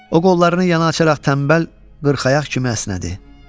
O qollarını yana açaraq tənbəl 40 ayaq kimi əsnədi.